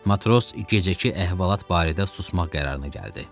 Matros gecəki əhvalat barədə susmaq qərarına gəldi.